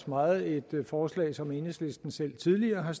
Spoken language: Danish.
meget et forslag som enhedslisten selv tidligere har